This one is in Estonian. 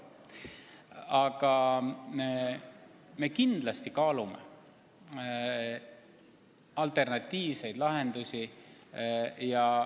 Aga me kindlasti kaalume alternatiivseid lahendusi.